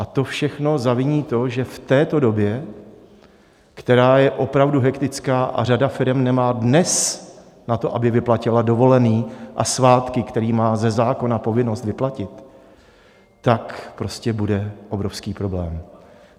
A to všechno zaviní to, že v této době, která je opravdu hektická, a řada firem nemá dnes na to, aby vyplatila dovolené a svátky, které má ze zákona povinnost vyplatit, tak prostě bude obrovský problém.